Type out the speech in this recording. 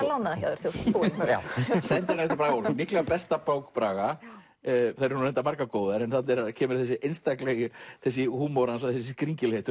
lánaða þegar þú ert búinn sendiherrann eftir Braga Ólafsson líklega besta bók Braga þær eru nú reyndar margar góðar en þarna kemur húmor hans og þessi skringilegheit